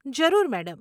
જરૂર મેડમ.